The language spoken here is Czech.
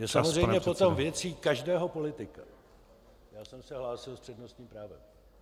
Je samozřejmě potom věcí každého politika - Já jsem se hlásil s přednostním právem.